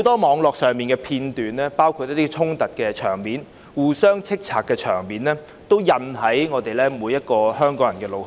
網絡上的片段有很多衝突和互相指罵的場面，也烙印在每個香港人的腦海中。